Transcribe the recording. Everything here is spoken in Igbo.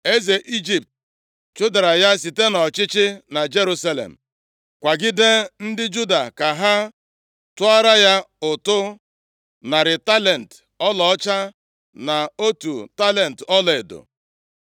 Eze Ijipt chụdara ya site nʼọchịchị na Jerusalem, kwagide ndị Juda ka ha tụọra ya ụtụ narị talenti ọlaọcha na otu talenti ọlaedo.